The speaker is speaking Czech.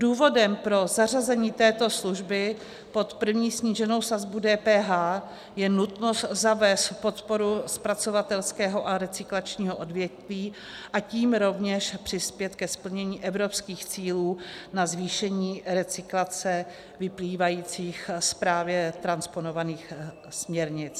Důvodem pro zařazení této služby pod první sníženou sazbu DPH je nutnost zavést podporu zpracovatelského a recyklačního odvětví, a tím rovněž přispět ke splnění evropských cílů na zvýšení recyklace vyplývajících z právě transponovaných směrnic.